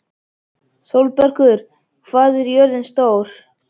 Sólbergur, hvað er jörðin stór?